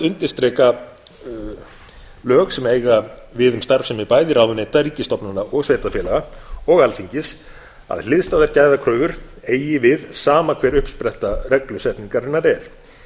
undirstrika lög sem eiga við um starfsemi bæði ráðuneyta ríkisstofnana sveitarfélaga og alþingis að hliðstæðar gæðakröfur eigi við sama hver uppspretta reglusetningarinnar er